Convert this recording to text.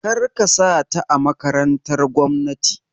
Kar ka sa ta a makarantar gwamnati!